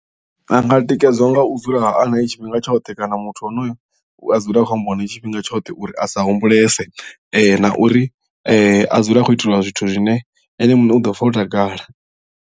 A nga tikedzwa nga u dzula arali tshifhinga tshoṱhe kana muthu onoyo a dzule a khou ambiwa nae tshifhinga tshoṱhe uri a sa humbulese na uri a dzule a khou itelwa zwithu zwine ene muṋe u ḓo pfha o takala.